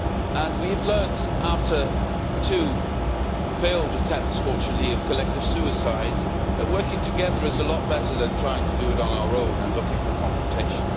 And we have learned, after two failed attempts fortunately at collective suicide, that working together is a lot better than trying to do it on our own and looking for confrontation.